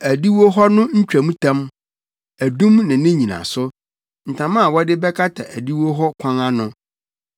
adiwo hɔ no ntwamtam, adum ne ne nnyinaso, ntama a wɔde bɛkata adiwo hɔ kwan ano,